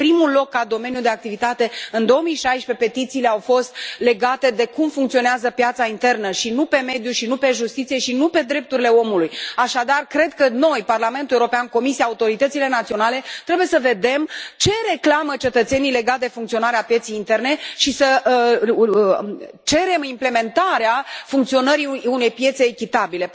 Pe primul loc ca domeniu de activitate, în 2016 petițiile au fost legate de cum funcționează piața internă și nu pe mediu și nu pe justiție și nu pe drepturile omului. Așadar, cred că noi, Parlamentul European, Comisia, autoritățile naționale trebuie să vedem ce reclamă cetățenii legat de funcționarea pieței interne și să cerem implementarea funcționării unei piețe echitabile.